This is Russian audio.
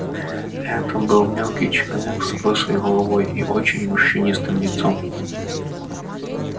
это был мелкий человек с лысой головой и очень морщинистым лицом